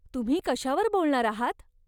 तुम्ही कशावर बोलणार आहात?